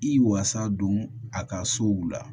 I wasa don a ka sow la